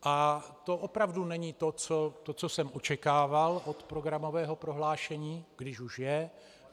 A to opravdu není to, co jsem očekával od programového prohlášení, když už je.